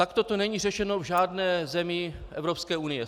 Takto to není řešeno v žádné zemi Evropské unie.